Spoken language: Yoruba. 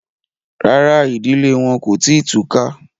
Rárá, ìdílé wọn kò tí ì túká